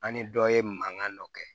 An ni dɔ ye mankan dɔ kɛ